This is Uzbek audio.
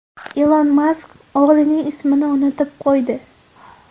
Ilon Mask o‘g‘lining ismini unutib qo‘ydi .